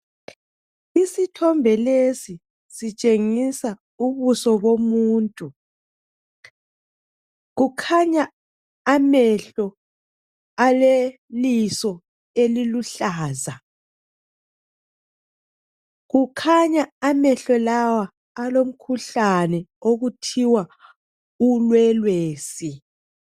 Isithombe lesi sitshengisa ubuso bomuntu. Kukhanya amehlo aleliso eliluhlaza. Kukhanya amehlo lawa alomkhuhlane okuthiwa ulwelwesi.